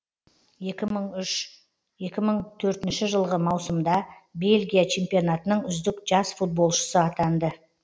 екі мың үш екі мың төртінші жылғы маусымда бельгия чемпионатының үздік жас футболшысы атанды